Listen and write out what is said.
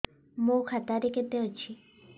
ମୋ ଖାତା ରେ କେତେ ଅଛି